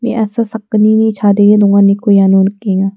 me·asa sakgnini chadenge donganiko iano nikenga.